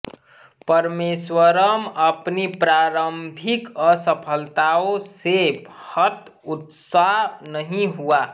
परमेश्वरवर्मन् अपनी प्रारभिक असफलताओं से हतोत्साह नहीं हुआ